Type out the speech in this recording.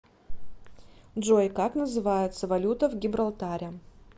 джой как называется валюта в гибралтаре